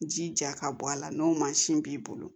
Ji ja ka bɔ a la n'o mansin b'i bolo